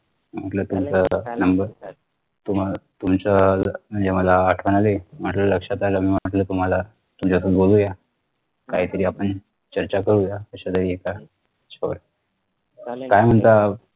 म्हटलं तुमचं Number तुमच्या म्हणजे मला आठवणं आली म्हटल लक्षात आलं म म्हटल तुम्हाला तुमच्यासोबत बोलूया काहीतरी आपण चर्चा करूया कशा आहेत काय वगैरे काय म्हणता